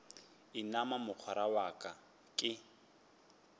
inama mogwera wa ka ke